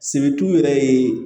Sebu yɛrɛ ye